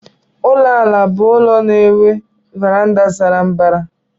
Ụlọ àlà bụ ụlọ na-enwe varanda sara mbara.